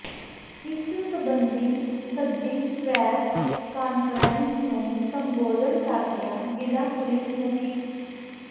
ਇਸ ਸਬੰਧੀ ਸੱਦੀ ਪ੍ਰੈਸ ਕਾਨਫਰੰਸ ਨੂੰ ਸੰਬੋਧਨ ਕਰਦਿਆਂ ਜ਼ਿਲ੍ਹਾ ਪੁਲਿਸ ਮੁਖੀ ਸ